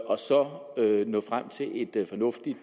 og så nå frem til et fornuftigt